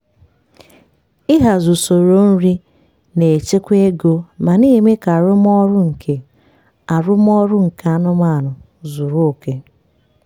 um iri nri kwa um oge na-edozi ahụ na-akwado ahụike nke mgbari nri ma na-akwalite um ntụsara ahụ dị mma nyere anụmanụ.